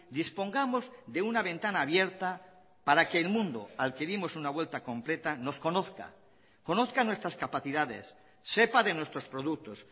dispongamos de una ventana abierta para que el mundo al que dimos una vuelta completa nos conozca conozca nuestras capacidades sepa de nuestros productos